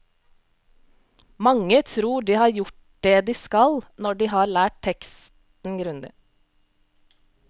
Mange tror de har gjort det de skal når de har lært leksen grundig.